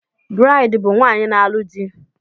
Braid bụ nwaanyị na-alụ di